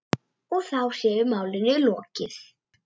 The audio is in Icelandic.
Og þá sé málinu lokið.